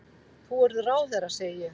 Þú verður ráðherra, segi ég.